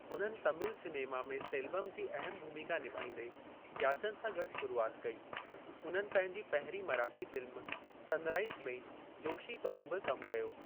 उन्हनि तमिल सिनेमा में सेल्वम जी अहमु भूमिका निभाईंदे याचन सां गॾु शुरुआति कई, उन्हनि पंहिंजी पहिरीं मराठी फ़िल्म सन राइज़ में जोशी तौरु बि कमु कयो।